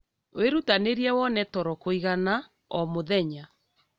Wĩrutanĩrie wone toro kũigana o mũthenya